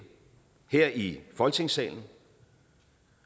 her i folketingssalen